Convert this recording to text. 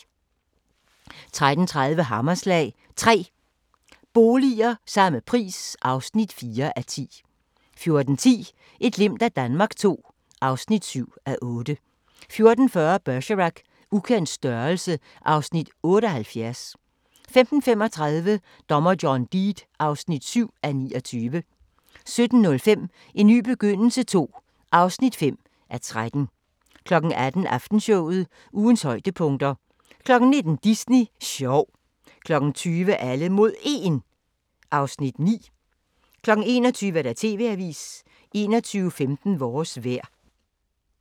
13:30: Hammerslag – 3 boliger – samme pris (4:10) 14:10: Et glimt af Danmark II (7:8) 14:40: Bergerac: Ukendt størrelse (Afs. 78) 15:35: Dommer John Deed (7:29) 17:05: En ny begyndelse II (5:13) 18:00: Aftenshowet – Ugens højdepunkter 19:00: Disney sjov 20:00: Alle mod 1 (Afs. 9) 21:00: TV-avisen 21:15: Vores vejr